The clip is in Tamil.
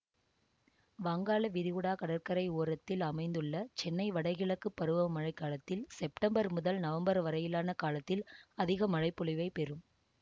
வங்காள விரிகுடா கடற்கரை ஓரத்தில் அமைந்துள்ள சென்னை வடகிழக்கு பருவமழை காலத்தில் செப்டம்பர் முதல் நவம்பர் வரையிலான காலத்தில் அதிக மழை பொழிவைப் பெறும்